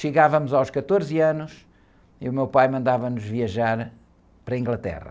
Chegávamos aos quatorze anos e o meu pai mandava-nos viajar para a Inglaterra.